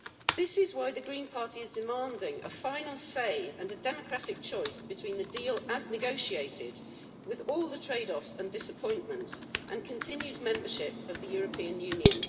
This is why the Green Party is demanding a final say and a democratic choice between the deal as negotiated with all the trade offs and disappointments and continued membership of the European Union.